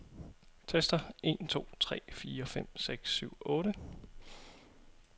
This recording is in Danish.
Tester en to tre fire fem seks syv otte.